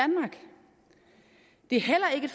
er heller ikke